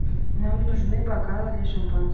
нам нужны бокалы для шампанского